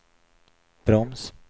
broms